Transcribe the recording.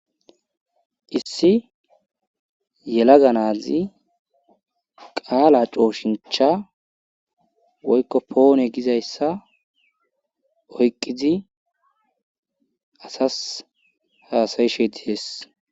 Issi yelaga naazi qaala cooshincha woykko poone gizayssa oyqqidi asas haasayishe dihees.